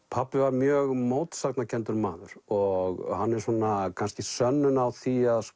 pabbi var mjög mótsagnakenndur maður og hann er svona kannski sönnun á því að